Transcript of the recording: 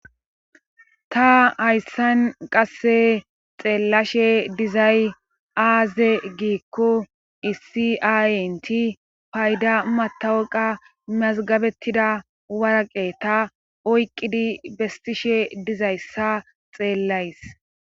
ta hayssan qasse xeellashe dizay aaze giikko issi aayinti payda matawuqa mazgabettida waraqe ta oyqqidi bestishe dizayssa xeellays